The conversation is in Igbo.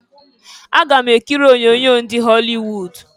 Aga m ekiri onyoonyo ndị họlị wud.